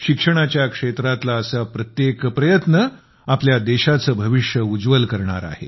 शिक्षणाच्या क्षेत्रातला असा प्रत्येक प्रयत्न आपल्या देशाचे भविष्य उज्ज्वल करणार आहे